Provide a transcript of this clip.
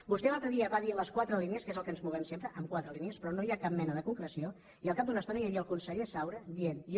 vostè l’altre dia va dir les quatre línies que és en el que ens movem sempre en quatre línies però no hi ha cap mena de concreció i al cap d’una estona ja hi havia el conseller saura dient jo